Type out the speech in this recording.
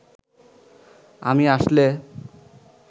আমি আসলে